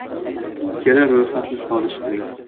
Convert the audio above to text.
Ikkala ro‘yxatni solishtiring.